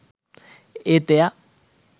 ඒත් එයා